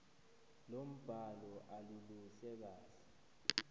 lombhalo aluluhle kahle